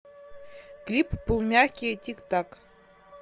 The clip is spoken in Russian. клип полумягкие тик так